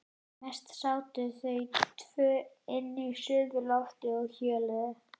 Mest sátu þau tvö inni á suðurlofti og hjöluðu.